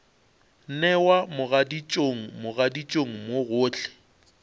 newa mogaditšong mogaditšong mo gohle